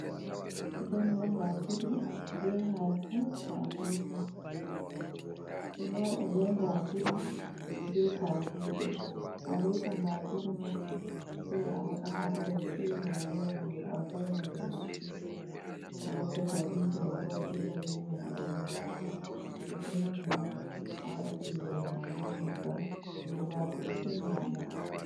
Dambu wada be gajiri be kabije, alota gajiri ma sai a waɗa ha dar saiva a lowa, ɗo a vaina do yite a wadda kabije mai bo’a jilla be mai a lowa, to bendini a wada tingere ma be nyibbam be bakru se nyamugo.